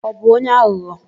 Ọ bụ onye aghụghọ?